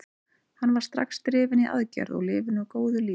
Hann var strax drifinn í aðgerð og lifir nú góðu lífi.